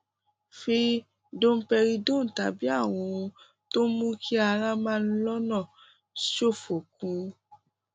fi domperidone tàbí àwọn ohun tó ń mú kí ara máa ń lọnà ṣòfò kún un